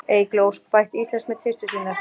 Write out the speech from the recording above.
Eygló Ósk bætti Íslandsmet systur sinnar